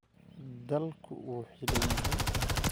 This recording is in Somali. Dalku wuu xidhan yahay